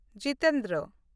Jitendra